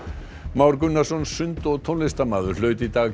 Már Gunnarsson sund og tónlistarmaður hlaut í dag